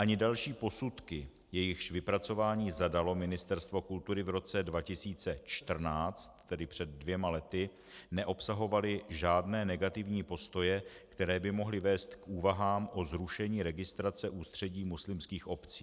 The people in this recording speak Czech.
Ani další posudky, jejichž vypracování zadalo Ministerstvo kultury v roce 2014, tedy před dvěma lety, neobsahovaly žádné negativní postoje, které by mohly vést k úvahám o zrušení registrace Ústředí muslimských obcí.